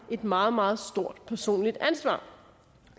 et meget meget stort personligt ansvar